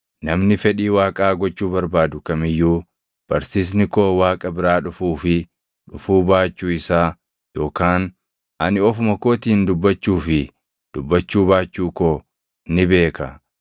Namni fedhii Waaqaa gochuu barbaadu kam iyyuu barsiisni koo Waaqa biraa dhufuu fi dhufuu baachuu isaa yookaan ani ofuma kootiin dubbachuu fi dubbachuu baachuu koo ni beeka.